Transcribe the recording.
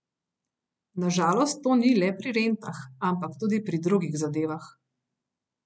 Na žalost to ni le pri rentah, ampak tudi pri drugih zadevah.